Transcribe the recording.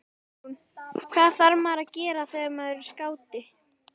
Guðrún: Hvað þarf maður að gera þegar maður er skáti?